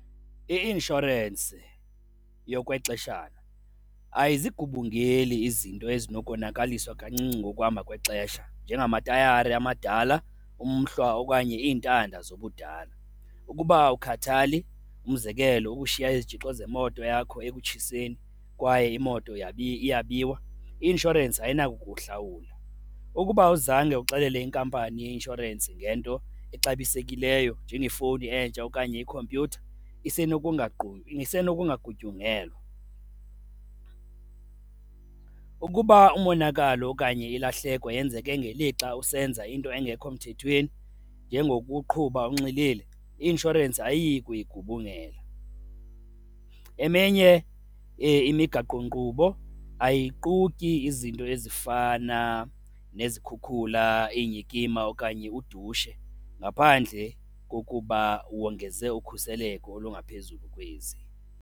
I-inshorensi yokwexeshana ayizigubungeli izinto ezinokonakaliswa kancinci ngokuhamba kwexesha njengamatayari amadala, umhlwa okanye iintanda zobudala. Ukuba awukhathali, umzekelo ukushiya izitshixo zemoto yakho ekutshiseni kwaye imoto iyabiwa, i-inshorensi ayinako ukuhlawula. Ukuba awuzange uxelele inkampani yeinshorensi ngento exabisekileyo njengefowuni entsha okanye ikhompyutha, isenokungagutyungelwa. Ukuba umonakalo okanye ilahleko yenzeke ngelixa usenza into engekho mthethweni njengokuqhuba unxilile, i-inshorensi ayiyi kuyigubungela. Eminye imigaqonkqubo ayiquki izinto ezifana nezikhukhula, iinyikima okanye udushe ngaphandle kokuba wongeze ukhuseleko olungaphezulu kwezi.